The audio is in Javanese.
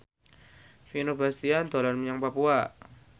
Vino Bastian dolan menyang Papua